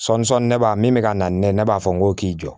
Sɔɔni sɔɔni ne b'a min bɛ ka na ne b'a fɔ n ko k'i jɔ